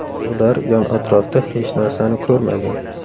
Ular yon-atrofda hech narsani ko‘rmagan.